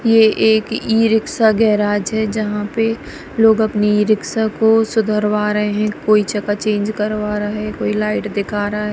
ये एक e rickshaw garage है जहां पे लोग अपनी ईरिक्शा को सुधरवा रहे हैं कोई चका चेंज करवा रहा है कोई लाइट दिखा रहा है।